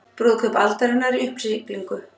Brúðkaup aldarinnar í uppsiglingu